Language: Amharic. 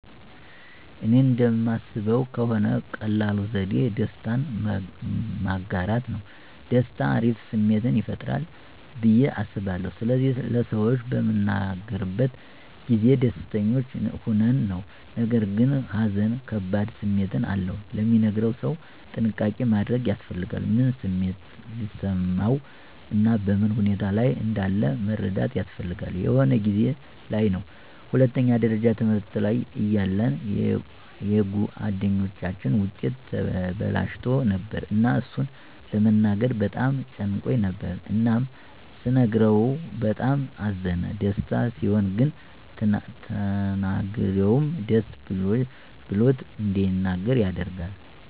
እኔ እንደማስበው ከሆነ ቀላሉ ዘዴ ደስታን ማጋራት ነው። ደስታ አሪፍ ስሜትን ይፈጥራል ብዬ አስባለሁ ስለዚህ ለሰዎች በምንናገርበት ጊዜ ደስተኞች ሆነን ነው። ነገርግን ሃዘን ከባድ ስሜት አለው፤ ለሚነገረው ሰው ጥንቃቄ ማድረግ ያስፈልጋል። ምን ስሜት ሊሰማው እና በምን ሁኔታ ላይ እንዳለ መረዳት ያስፈልጋል። የሆነ ጊዜ ላይ ነው ሁለተኛ ደረጃ ትምህርት ላይ እያለን የጉአደኛችን ዉጤት ተበላሽቶ ነበር እና እሱን ለመናገር በጣም ጨንቆኝ ነበር እናም ስነግረው በጣም አዘነ። ደስታ ሲሆን ግን ተናጋሪውም ደስ ብሎት እንዲናገር ያደርጋል።